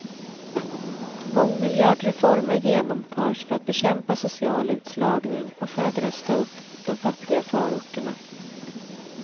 Mångmiljardreformer genomförs för att bekämpa social utslagning och för att rusta upp de fattiga förorterna.